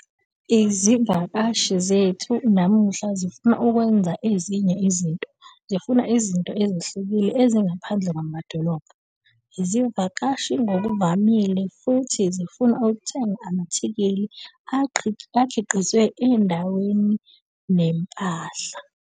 Izivakashi zethu namuhla zifuna ukwenza ezinye izinto - zifuna izinto ezehlukile ezingaphandle kwamadolobha. Izivakashi ngokuvamile futhi zifuna ukuthenga ama-athikhili akhiqizwa endaweni nempahla.